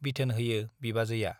बिथोन होयो बिबाजैया।